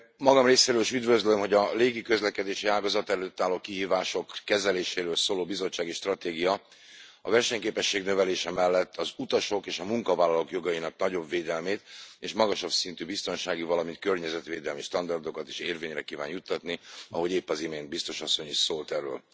Magam részéről is üdvözlöm, hogy a légiközlekedési ágazat előtt álló kihívások kezeléséről szóló bizottsági stratégia a versenyképesség növelése mellett az utasok és a munkavállalók jogainak nagyobb védelmét és magasabb szintű biztonsági, valamint környezetvédelmi standardokat is érvényre kíván juttatni ahogy épp az imént biztos asszony is szólt erről.